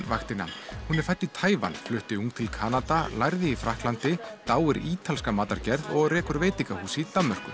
vaktina hún er fædd í Taívan en flutti ung til Kanada lærði í Frakklandi dáir ítalska matargerð og rekur veitingahús í Danmörku